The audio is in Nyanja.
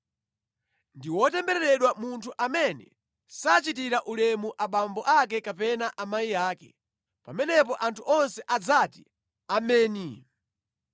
“Ndi wotembereredwa munthu amene sachitira ulemu abambo ake kapena amayi ake.” Pamenepo anthu onse adzati, “Ameni!”